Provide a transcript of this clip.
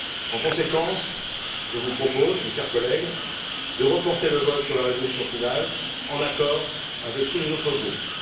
En conséquence, je vous propose, chers collègues, de reporter le vote sur la résolution finale, en accord avec tous les autres groupes.